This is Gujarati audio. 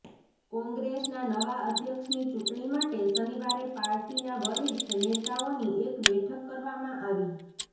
કોંગ્રેસના નવા અધ્યક્ષની ચૂંટણી માટે શનિવારે પાર્ટીના વરિષ્ઠ નેતાઓની એક બેઠક કરવામાં આવી